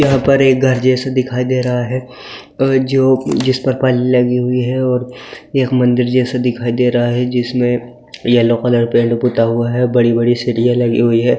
यहां पर एक घर जैसी दिखाई दे रहा है और जो जिसपर लगी हुई है और एक मंदिर जैसी दिखाई दे रहा है ।